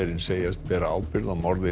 segjast bera ábyrgð á morði